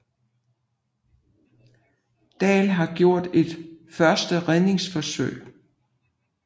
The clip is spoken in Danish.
Dahl havde gjort et første redningsforsøg